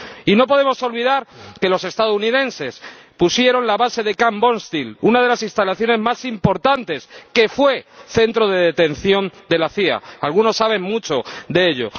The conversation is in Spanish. Y no podemos olvidar que los estadounidenses pusieron la base de Camp Bondsteel, una de las instalaciones más importantes que fue centro de detención de la CIA ―algunos saben mucho de ello―.